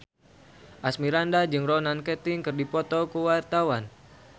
Asmirandah jeung Ronan Keating keur dipoto ku wartawan